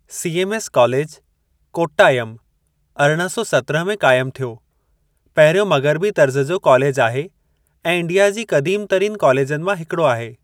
CMS college, Kottayam अरिड़हं सौ सत्रहं में क़ाइमु थियो, पहिरियों मग़िरबी तर्ज़ जो कालेजु आहे ऐं इंडिया जी क़दीम तरीन कालेजनि मां हिकड़ो आहे।